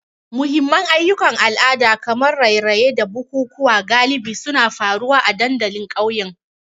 Muhimman ayyukan al'ada kamar raye-raye da bukukuwa galibi suna faruwa a dandalin ƙauyen.